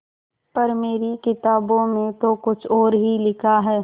पर मेरी किताबों में तो कुछ और ही लिखा है